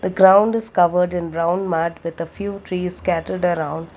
ground is covered in brown mat with a few trees scattered around.